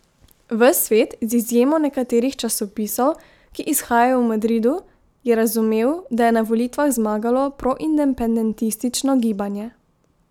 Ves svet, z izjemo nekaterih časopisov, ki izhajajo v Madridu, je razumel, da je na volitvah zmagalo proindependentistično gibanje.